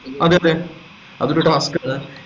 അതെ അതെ അതൊരു task അല്ലെ